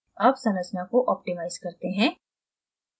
अब संरचना को optimize करते हैं